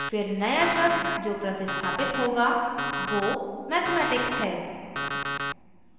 फिर नया शब्द जो प्रतिस्थापित होगा वो mathematics है